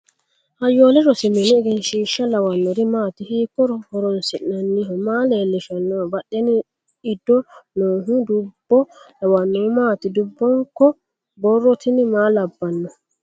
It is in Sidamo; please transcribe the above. hayyolle rosi mini egensiishsha lawannori maati hiikko horoonsi'nannihio maa leellishannoho badhenni iddo noohu dubbo lawannohu maati dubbonko borro tini maa labbanno